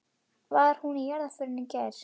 Var hún í jarðarför í gær?